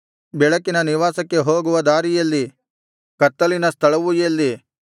ಬೆಳಕಿನ ನಿವಾಸಕ್ಕೆ ಹೋಗುವ ದಾರಿ ಎಲ್ಲಿ ಕತ್ತಲಿನ ಸ್ವಸ್ಥಳವು ಎಲ್ಲಿ